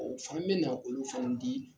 Ɔ o fan bɛna olu fɛnw di